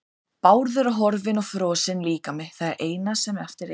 Bárður er horfinn og frosinn líkami það eina sem eftir er.